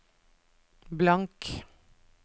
blank